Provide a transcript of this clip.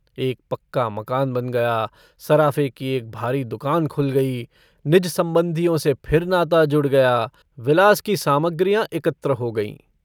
एक पक्का मकान बन गया। सराफे की एक भारी दुकान खुल गई। निज सम्बन्धियों से फिर नाता जुड़ गया। विलास की सामग्रियाँ एकत्र हो गईं।